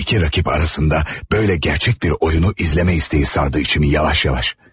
İki rəqib arasında belə gerçək bir oyunu izləmə istəyi sardı içimi yavaş-yavaş.